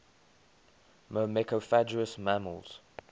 myrmecophagous mammals